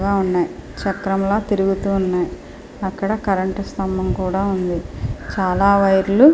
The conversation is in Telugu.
పెద్ధగా ఉన్నాయ్ చక్రం లా తిరుగుతున్నాయ్ అక్కడ కరెంట్ స్తంభం కూడా ఉంది చాలా వైర్ లు --